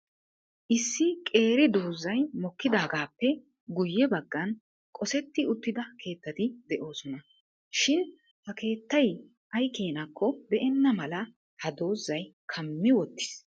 Issi qeeri doozay mokkidaagappe guyye baggan kosetti uttida keettati de'oosona. Shin ha keettay ay keenakko be''ena mala ha doozay kammi wottiis.